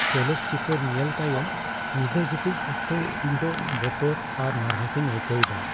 ᱪᱚᱞᱚᱛ ᱪᱤᱛᱟᱹᱨ ᱧᱮᱞ ᱛᱟᱭᱚᱢ ᱧᱤᱫᱟᱹ ᱜᱤᱛᱤᱡ ᱚᱠᱛᱚ ᱤᱧ ᱫᱚ ᱵᱚᱛᱚᱨ ᱟᱨ ᱱᱟᱨᱵᱷᱟᱥᱤᱧ ᱟᱹᱭᱠᱟᱹᱣ ᱮᱫᱟ ᱾